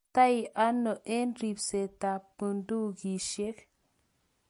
ikastei ano eng' ribsetab bundukisiek?